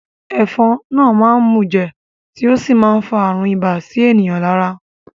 Ẹ̀fọn náà máá ń mùjẹ̀ tí ó sì má ń fa àrùn ibà sí ènìyàn lára